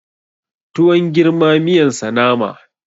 Tuwon girma miyan sa nama